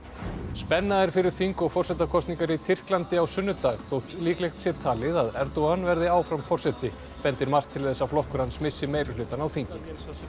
spenna er fyrir þing og forsetakosningum í Tyrklandi á sunnudag þótt líklegt sé talið að Erdogan verði áfram forseti bendir margt til þess að flokkur hans missi meirihlutann á þingi